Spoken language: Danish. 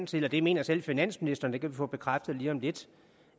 til og det mener selv finansministeren det kan vi få bekræftet lige om lidt